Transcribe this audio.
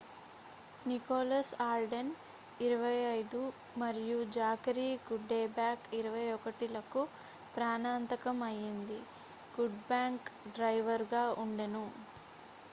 Nicholas Alden 25 మరియు Zachary Cuddeback 21 లకు ప్రాణాంతకం అయింది కుడ్బ్యాక్ డ్రైవరుగా ఉండెను